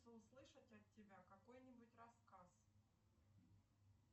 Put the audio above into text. хочу услышать от тебя какой нибудь рассказ